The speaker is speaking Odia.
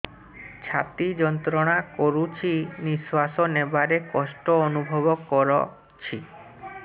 ଛାତି ଯନ୍ତ୍ରଣା କରୁଛି ନିଶ୍ୱାସ ନେବାରେ କଷ୍ଟ ଅନୁଭବ କରୁଛି